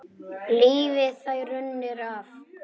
Lifði þær raunir af.